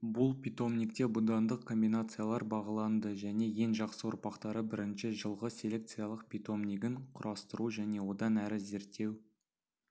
бұл питомникте будандық комбинациялар бағаланды және ең жақсы ұрпақтары бірінші жылғы селекциялық питомнигін құрастыру және одан әрі зерттеу